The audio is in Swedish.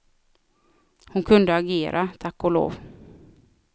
Hon kunde agera, tack och lov.